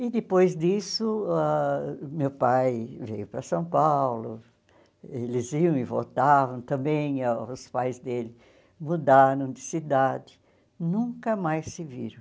E depois disso, ãh meu pai veio para São Paulo, eles iam e voltavam também, e os pais dele mudaram de cidade, nunca mais se viram.